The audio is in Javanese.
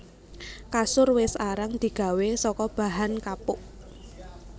Kasur wis arang digawé saka bahan kapuk